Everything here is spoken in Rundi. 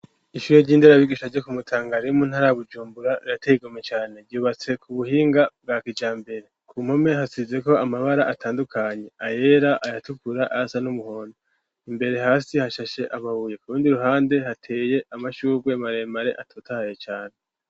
Ishure ry'indarabigisha, ryo ku Mutanga, riri mu ntara Bujumbura, rirateye igomwe cane; ryubatse ku buhinga, bwa kijambere; ku mpome, hasizeko amabara atandukanye; ayera, ayatukura, ayasa n'umuhondo; imbere hasi, hashashe amabuye, ku rundi ruhande, hateye amashurwe maremare, atotahaye cane.